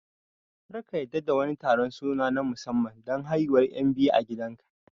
Kar ka yarda da wani taron suna na musamman don haihuwar 'yan biyu a gidanka